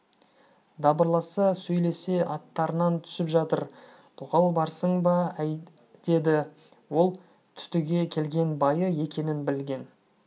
дабырласа сөйлесе аттарынан түсіп жатыр тоқал барсың ба әй деді ол түтіге келген байы екенін білген